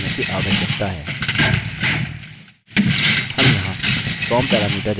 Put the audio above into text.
email भेजने के लिए हमें यह करने की आवश्यकता है